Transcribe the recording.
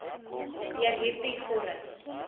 deur hierdie vorm